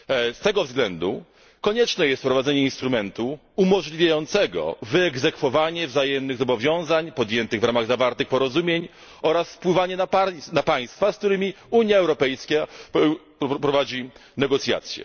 Z tego względu konieczne jest wprowadzenie instrumentu umożliwiającego wyegzekwowanie wzajemnych zobowiązań podjętych w ramach zawartych porozumień oraz wpływanie na państwa, z którymi Unia Europejska prowadzi negocjacje.